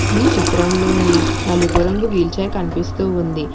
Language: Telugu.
ఈ చిత్రంలోని నలుపు రంగు వీల్ చైర్ కనిపిస్తూ ఉంది.